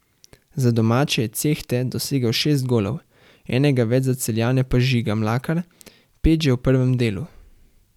Za domače je Cehte dosegel šest golov, enega več za Celjane pa Žiga Mlakar, pet že v prvem delu.